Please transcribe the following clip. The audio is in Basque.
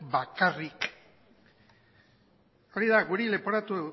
bakarrik hori da guri leporatu